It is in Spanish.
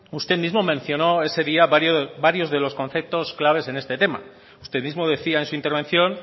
usted mismo mencionó ese día varios de los conceptos claves en este tema usted mismo decía en su intervención